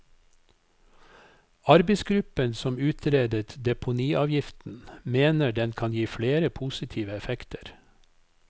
Arbeidsgruppen som utredet deponiavgiften, mener den kan gi flere positive effekter.